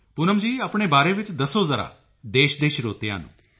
ਪੂਨਮ ਜੀ ਆਪਣੇ ਬਾਰੇ ਵਿੱਚ ਦੱਸੋ ਜ਼ਰਾ ਦੇਸ਼ ਦੇ ਸਰੋਤਿਆਂ ਨੂੰ